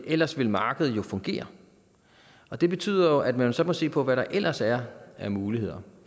ellers ville markedet jo fungere og det betyder jo at man så må se på hvad der ellers er af muligheder